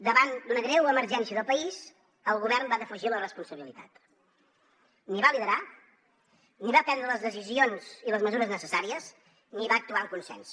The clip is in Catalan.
davant d’una greu emergència del país el govern va defugir la responsabilitat ni va liderar ni va prendre les decisions i les mesures necessàries ni va actuar amb consens